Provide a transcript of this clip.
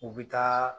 U bɛ taa